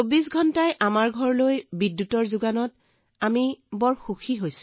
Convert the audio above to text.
২৪ ঘণ্টাই ছাৰ আমাৰ ঘৰত বিদ্যুৎ আছে আৰু আমি বহুত সুখী